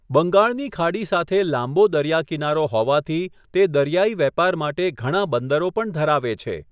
બંગાળની ખાડી સાથે લાંબો દરિયા કિનારો હોવાથી, તે દરિયાઈ વેપાર માટે ઘણા બંદરો પણ ધરાવે છે.